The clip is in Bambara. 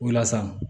O la sa